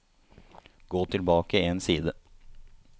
Gå tilbake én side